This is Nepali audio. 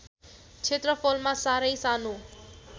क्षेत्रफलमा सारै सानो